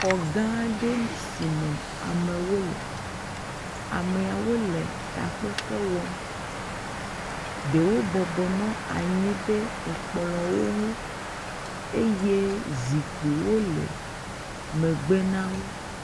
Xɔ gã aɖee si me amewo le. Ameawo le takpekpe wɔm. Ɖewo bɔbɔnɔ anyi ɖe ekplɔwo nu eye zikpuiwo le megbe na wo.